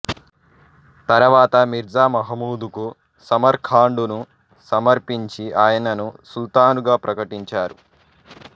తరువాత మీర్జా మహమూదుకు సమర్కాండును సమర్పించి ఆయనను సుల్తానుగా ప్రకటించారు